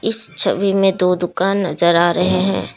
इस छवि में दो दुकान नजर आ रहे हैं।